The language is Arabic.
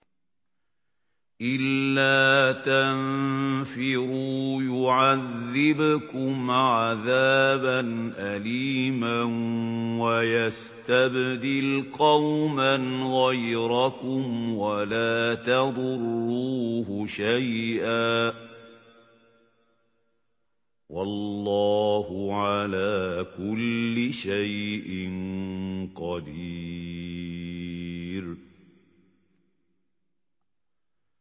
إِلَّا تَنفِرُوا يُعَذِّبْكُمْ عَذَابًا أَلِيمًا وَيَسْتَبْدِلْ قَوْمًا غَيْرَكُمْ وَلَا تَضُرُّوهُ شَيْئًا ۗ وَاللَّهُ عَلَىٰ كُلِّ شَيْءٍ قَدِيرٌ